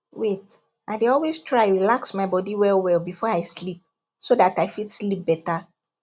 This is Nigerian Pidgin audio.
wait i dey always try relax my body wellwell before i sleep so that i fit sleep better